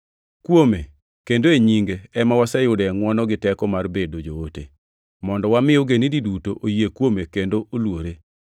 Kuome kendo e nyinge ema waseyudoe ngʼwono gi teko mar bedo joote, mondo wami ogendini duto oyie kuome kendo oluore.